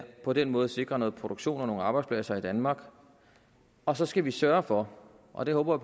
på den måde sikre noget produktion og nogle arbejdspladser i danmark og så skal vi sørge for og det håber